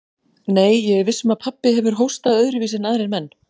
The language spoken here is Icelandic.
Nei, ég er viss um að pabbi hefur hóstað öðruvísi en aðrir menn.